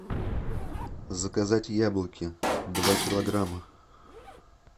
заказать яблоки два килограмма